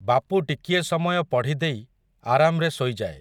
ବାପୁ ଟିକିଏ ସମୟ ପଢ଼ିଦେଇ, ଆରାମ୍‌ରେ ଶୋଇଯାଏ ।